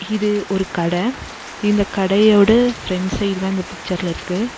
இது ஒரு கட இந்த கடையோட ஃப்ரெண்ட் சைடு தா இந்த பிக்சர்ல இருக்கு.